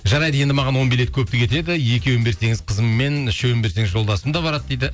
жарайды енді маған он билет көптік етеді екеуін берсеңіз қызыммен үшеуін берсеңіз жолдасым да барады дейді